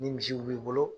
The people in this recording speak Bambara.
Ni misiw b'i bolo